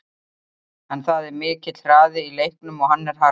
En það er mikill hraði í leiknum og hann er harður.